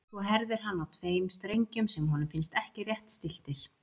Svo herðir hann á tveim strengjum sem honum finnst ekki rétt stilltir.